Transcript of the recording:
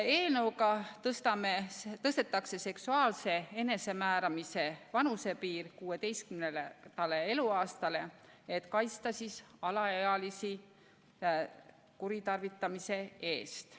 Eelnõuga tõstetakse seksuaalse enesemääramise vanusepiir 16. eluaastani, et kaitsta alaealisi kuritarvitamise eest.